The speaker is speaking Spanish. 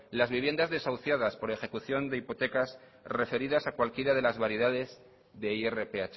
las viviendas desahuciadas por ejecución de hipotecas referidas a cualquiera de las variedades de irph